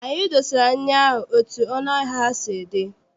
Anyị dosara nri ahụ etu ọnụ ahịa ha si dị.